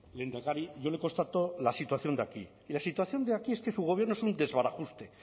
lehendakari yo le constató la situación de aquí y la situación de aquí es que su gobierno es un desbarajuste